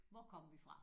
Hvor kom vi fra?